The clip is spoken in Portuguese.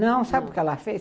Não, sabe o que ela fez?